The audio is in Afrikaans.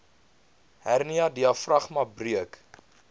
hernia diafragma breuk